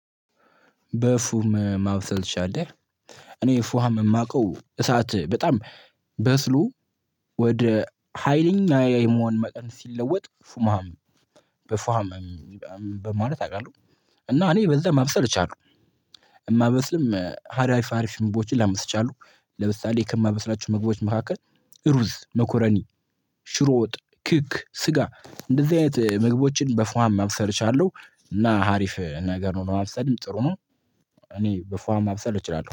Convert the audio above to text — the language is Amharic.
በፉም ማብሰል ትችላለህ እኔ ፉሃም የማውቀው እሳት በጣም በስሎ ወደ ሀይለኛ የመሆን ሙቀት ሲለወጥ ፉሃም በፉሃም በማለት አዉቃለሁ እና እኔ በዛ ማብሰል እችላለሁ። እማበስልም አሪፍ አሪፍ ምግቦችን ማብሰል እችላለሁ ለምሳሌ ከማበስላቸው ምግቦች መካከል እሩዝ፣ ሜኮረኒ፣ ሽሮ ወጥ፣ ክክ፣ ስጋ እንደዚ አይነት ምግቦችን በ ፉሃም ማብሰል እችላለሁ። እና አሪፍ ነገር ለማብሰል ጥሩ ነው እኔ በ ፉሃም ማብሰል እችላለሁ